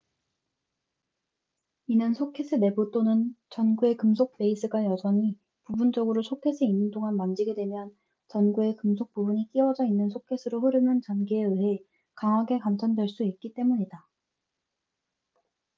이는 소켓의 내부 또는 전구의 금속 베이스가 여전히 부분적으로 소켓에 있는 동안 만지게 되면 전구의 금속 부분이 끼워져 있는 소켓으로 흐르는 전기에 의해 강하게 감전될 수 있기 때문이다